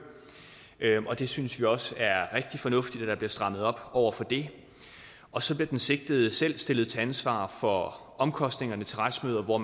vi synes også at det er rigtig fornuftigt at der bliver strammet op over for det og så bliver den sigtede selv stillet til ansvar for omkostningerne til retsmøder hvor